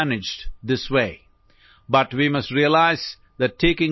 মানসিক ৰোগৰ চিকিৎসা এনেদৰে কৰা হয়